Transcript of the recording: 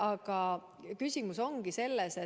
Aga küsimus ongi selles,